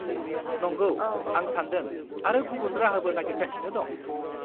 -नंगौ, आं सानदों आरो गुबुन राहाबो नागिरगासिनो दं।